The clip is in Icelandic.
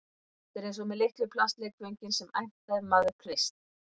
Þetta er eins og með litlu plastleikföngin sem æmta ef maður kreist